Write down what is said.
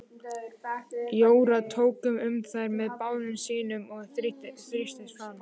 Jóra tók um þær með báðum sínum og þrýsti fast.